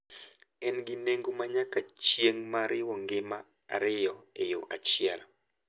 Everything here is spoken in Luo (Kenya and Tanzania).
En gi nengo ma nyaka chieng’ ma riwo ngima ariyo e yo achiel.